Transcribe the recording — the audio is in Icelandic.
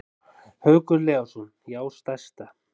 Haukur Leósson: Já stærsta.